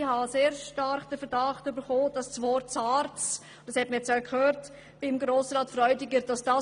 Ich hege sehr stark den Verdacht, dass ihn einfach schon das Wort «SARZ» aufjucken lässt.